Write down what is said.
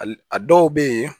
Hali a dɔw bɛ yen